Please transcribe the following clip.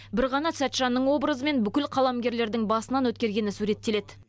бір ғана сәтжанның образымен бүкіл қаламгерлердің басынан өткергені суреттеледі